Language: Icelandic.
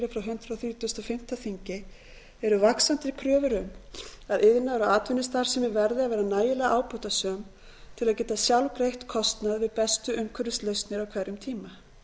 þrítugasta og fimmta þingi eru vaxandi kröfur um að iðnaðar og atvinnustarfsemi verði að vera nægilega ábatasöm til að geta sjálf greitt kostnað við bestu umhverfislausnir á hverjum tíma